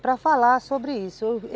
Para falar sobre isso.